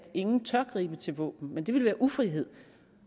ingen tør gribe til våben men det ville være ufrihed